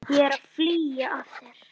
Það er fýla af þér.